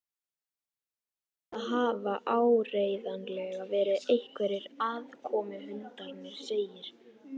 Þetta hafa áreiðanlega verið einhverjir aðkomuhundarnir segir